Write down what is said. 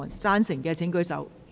贊成的請舉手。